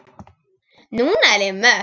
Núna er ég mött.